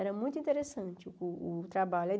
Era muito interessante o o trabalho aí.